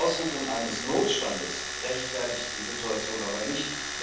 Die Ausrufung eines Notstandes rechtfertigt die Situation aber nicht.